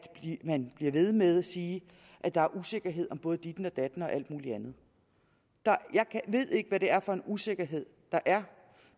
man bliver ved med at sige at der er usikkerhed om både ditten og datten og alt muligt andet jeg ved ikke hvad det er for en usikkerhed der er